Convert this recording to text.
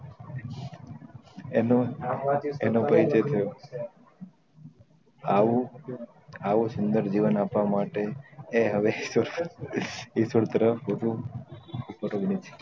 એનું એનું ભાઈ જે થયો આવું આવું સુંદર જીવન આપવા માટે એ હવે ઈશ્વર તરફ વધુ